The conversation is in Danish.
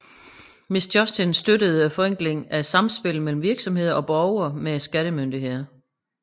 Misjustin støttede forenklingen af samspillet mellem virksomheder og borgere med skattemyndighederne